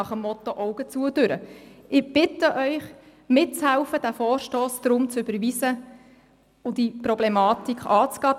Ich bitte Sie mitzuhelfen, diesen Vorstoss zu überweisen und diese Problematik anzugehen;